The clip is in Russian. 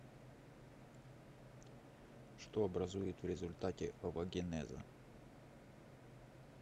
что образует в результате овогенеза